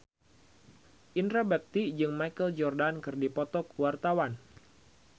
Indra Bekti jeung Michael Jordan keur dipoto ku wartawan